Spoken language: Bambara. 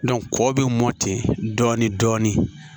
kɔ bɛ mɔti dɔɔnin dɔɔnin